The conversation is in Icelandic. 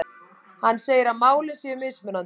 Hann segir að málin séu mismunandi